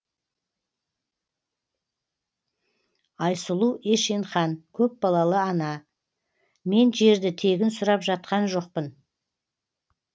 айсұлу ешенхан көпбалалы ана мен жерді тегін сұрап жатқан жоқпын